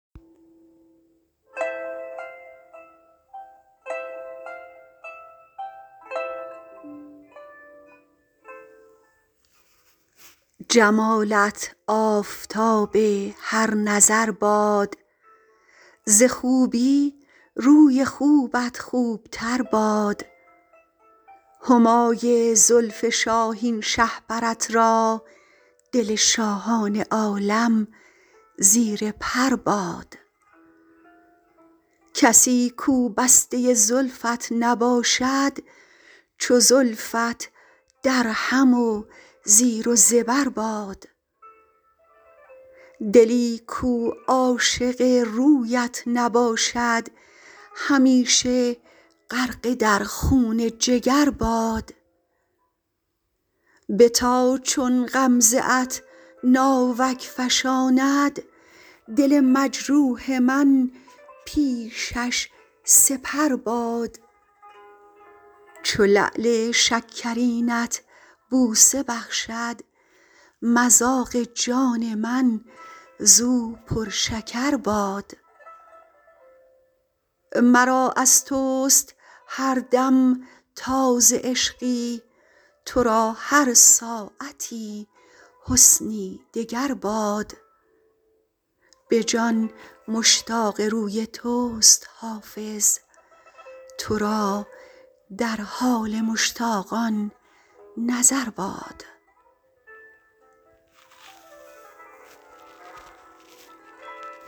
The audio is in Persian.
جمالت آفتاب هر نظر باد ز خوبی روی خوبت خوب تر باد همای زلف شاهین شهپرت را دل شاهان عالم زیر پر باد کسی کو بسته زلفت نباشد چو زلفت درهم و زیر و زبر باد دلی کو عاشق رویت نباشد همیشه غرقه در خون جگر باد بتا چون غمزه ات ناوک فشاند دل مجروح من پیشش سپر باد چو لعل شکرینت بوسه بخشد مذاق جان من زو پرشکر باد مرا از توست هر دم تازه عشقی تو را هر ساعتی حسنی دگر باد به جان مشتاق روی توست حافظ تو را در حال مشتاقان نظر باد